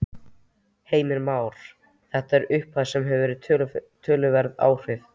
Heimir Már: Þetta er upphæð sem að hefur töluverð áhrif?